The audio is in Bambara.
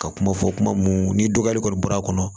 Ka kuma fɔ kuma mun ni dɔgɔyali kɔni bɔra